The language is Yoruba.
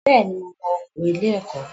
Bẹ́ẹ̀ni, mo mọ oko ilé ẹ̀kọ́